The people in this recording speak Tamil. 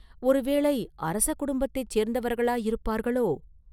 ஒருவேளை அரச குடும்பத்தைச் சேர்ந்தவர்களாயிருப்பார்களோ?